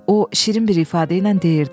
O şirin bir ifadə ilə deyirdi: